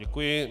Děkuji.